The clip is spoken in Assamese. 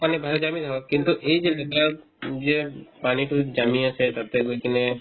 পানী বাহিৰত জামি থাকক কিন্তু এইযে লেতেৰা যিয়ে পানীতো জামি আছে তাতে গৈ কিনে